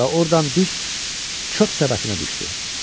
Və ordan düz çöp səbətinə düşdü.